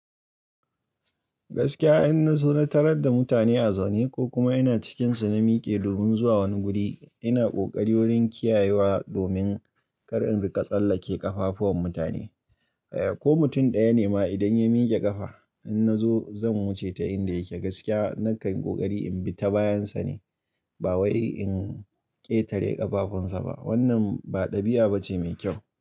Gaskiya innazo na tarar da mutane a zaune kokuma ina cikin su namike domin zuwa wani guri ina kokarin wurin kiyayewa domin kar in dinga tsallake kafafuwan mutane ko mutum ɗaya ne ma idan ya mike ƙafa in na zo zan wuce ta inda yake. Gaskiya na kai ƙoƙari in bi ta bayan sa ne ba wai in ƙetare ƙafafun sa ba. Wannan ba ɗabi'a bace mai kyau.